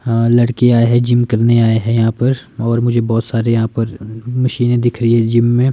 हा लड़के आये हैं जिम करने आए हैं यहां पर और मुझे बहोत सारे यहां पर मशीनें दिख रही हैं जिम में।